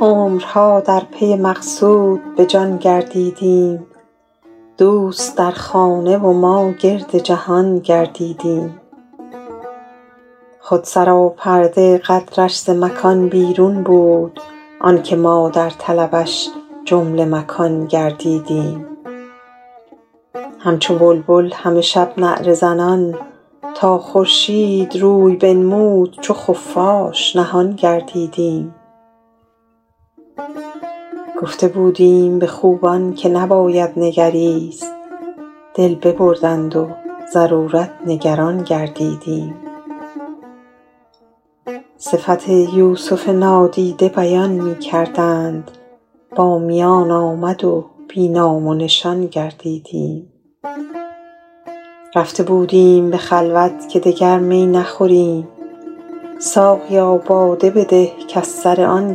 عمرها در پی مقصود به جان گردیدیم دوست در خانه و ما گرد جهان گردیدیم خود سراپرده قدرش ز مکان بیرون بود آن که ما در طلبش جمله مکان گردیدیم همچو بلبل همه شب نعره زنان تا خورشید روی بنمود چو خفاش نهان گردیدیم گفته بودیم به خوبان که نباید نگریست دل ببردند و ضرورت نگران گردیدیم صفت یوسف نادیده بیان می کردند با میان آمد و بی نام و نشان گردیدیم رفته بودیم به خلوت که دگر می نخوریم ساقیا باده بده کز سر آن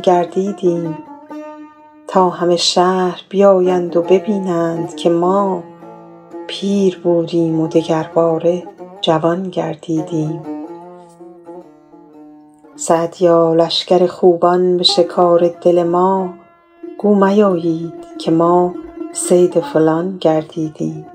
گردیدیم تا همه شهر بیایند و ببینند که ما پیر بودیم و دگرباره جوان گردیدیم سعدیا لشکر خوبان به شکار دل ما گو میایید که ما صید فلان گردیدیم